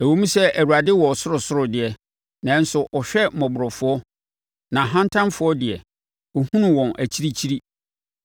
Ɛwom sɛ Awurade wɔ ɔsorosoro deɛ, nanso ɔhwɛ mmɔborɔfoɔ, na ahantanfoɔ deɛ, ɔhunu wɔn akyirikyiri.